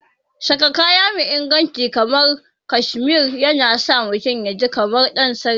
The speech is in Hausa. Saka kaya me inganci kamar cashmere yana sa mutum yaji kamar ɗansarki.